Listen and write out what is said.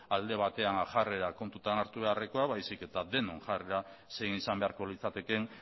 alde batean jarrera kontutan hartu beharrekoa baizik eta denon jarrera zein izan beharko litzatekeen